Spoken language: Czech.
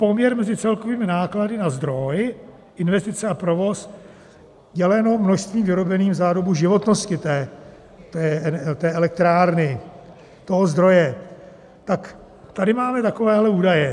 Poměr mezi celkovými náklady na zdroj, investice a provoz děleno množstvím vyrobeným za dobu životnosti té elektrárny, toho zdroje, tak tady máme takovéhle údaje.